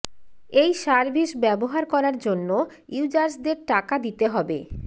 এই সার্ভিস ব্যবহার করার জন্য ইউজার্সদের টাকা দিতে হবে